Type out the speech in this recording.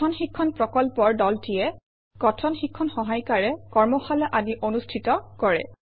কথন শিক্ষণ প্ৰকল্পৰ দলটিয়ে কথন শিক্ষণ সহায়িকাৰে কৰ্মশালা আদি অনুষ্ঠিত কৰে